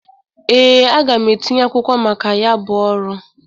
Ee, aga m etinye akwụkwọ maka ya bụ ọrụ.